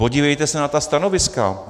Podívejte se na ta stanoviska.